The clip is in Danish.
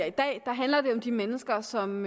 i dag handler det om de mennesker som